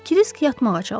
Krisk yatmağa çalışır.